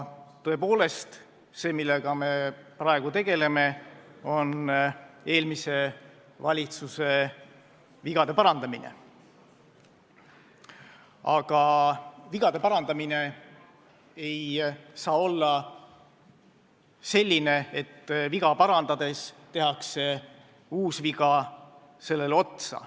Tõepoolest on see, millega me praegu tegeleme, eelmise valitsuse vigade parandamine, aga vigade parandamine ei tohi olla selline, et viga parandades tehakse uus viga sellele otsa.